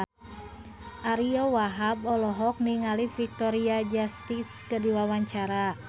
Ariyo Wahab olohok ningali Victoria Justice keur diwawancara